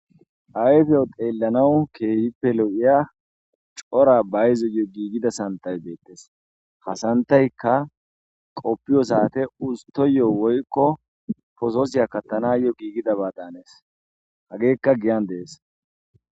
Ayfen xelanas go"iza cora sanththati de"osona ha sanththaykka qopiyo saten usteyo woykko posose kaththanaw mades